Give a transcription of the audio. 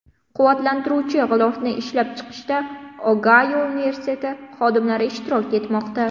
Quvvatlantiruvchi g‘ilofni ishlab chiqishda Ogayo universiteti xodimlari ishtirok etmoqda.